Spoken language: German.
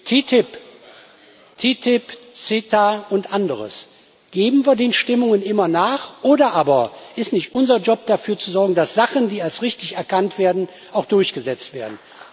TTIP, CETA und anderes Geben wir den Stimmungen immer nach, oder ist es nicht unser Job, dafür zu sorgen, dass Sachen, die als richtig erkannt werden, auch durchgesetzt werden?